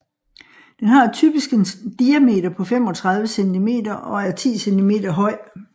Den har typisk en diameter på 35 cm og er 10 cm høj